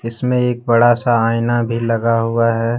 इसमें एक बड़ा सा आईना भी लगा हुआ है।